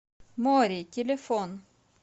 море телефон